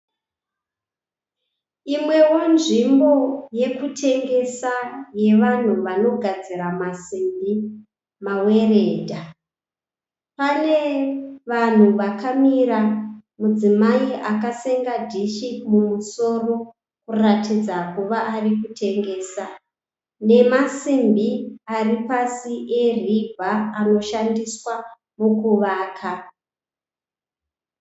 Imwewo nzvimbo yokutengesa yevanhu vanogadzira masimbi, maweredha. Pane vanhu vakamira, mudzimai akasenga dhishi mumusoro kuratidza kuva ari kutengesa, namasimbi ari pasi eriibha anoshandiswa mukuvaka.